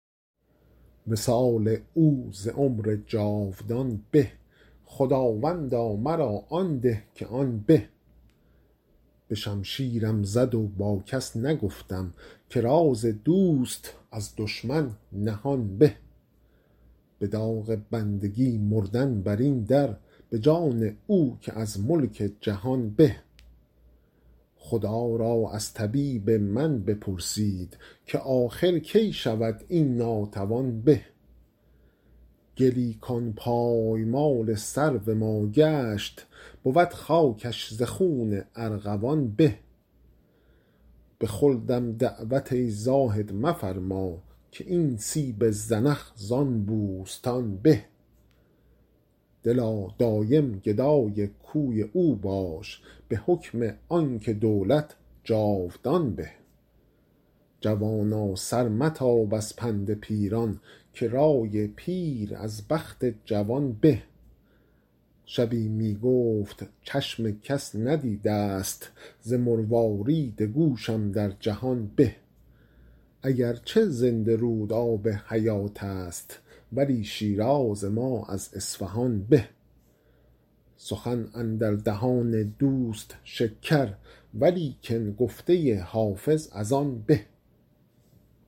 وصال او ز عمر جاودان به خداوندا مرا آن ده که آن به به شمشیرم زد و با کس نگفتم که راز دوست از دشمن نهان به به داغ بندگی مردن بر این در به جان او که از ملک جهان به خدا را از طبیب من بپرسید که آخر کی شود این ناتوان به گلی کان پایمال سرو ما گشت بود خاکش ز خون ارغوان به به خلدم دعوت ای زاهد مفرما که این سیب زنخ زان بوستان به دلا دایم گدای کوی او باش به حکم آن که دولت جاودان به جوانا سر متاب از پند پیران که رای پیر از بخت جوان به شبی می گفت چشم کس ندیده ست ز مروارید گوشم در جهان به اگر چه زنده رود آب حیات است ولی شیراز ما از اصفهان به سخن اندر دهان دوست شکر ولیکن گفته حافظ از آن به